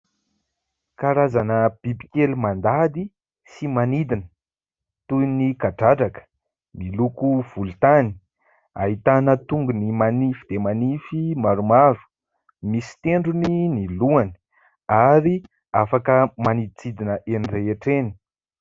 Karazana bibikely mandady sy manidina. Toy ny kadradraka, miloko volontany, ahitana tongony manify dia manify maromaro, misy tendrony ny lohany ary afaka maniditsidina eny rehetra eny.